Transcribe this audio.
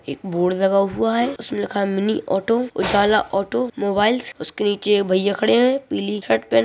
एक बोर्ड लगा हुवा है उसमे लिखा है mini auto Ujala automobiles उसके नीचे एक भैया खड़े है पीली शर्ट पहने --